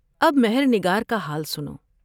اب مہر نگار کا حال سنو ۔